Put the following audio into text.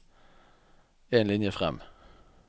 En linje fram